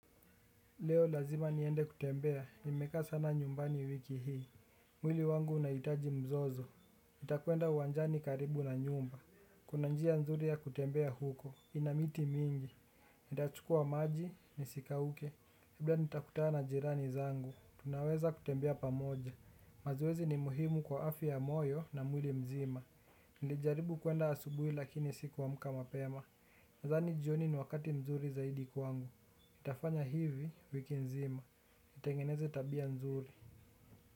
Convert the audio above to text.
Leo lazima niende kutembea, nimekaa sana nyumbani wiki hii. Mwili wangu unaitaji mzozo nitakwenda uwanjani karibu na nyumba. Kuna njia nzuri ya kutembea huko, ina miti mingi. Nitachukua maji, nisikauke labda nitakutana jirani zangu, tunaweza kutembea pamoja. Mazoezi ni muhimu kwa afya ya moyo na mwili mzima. Nilijaribu kwenda asubuhi lakini sikuamuka mapema. Nadhani jioni ni wakati muhimu sana kwangu. Nitafanya hivi wiki nzima, nitengeneze tabia nzuri.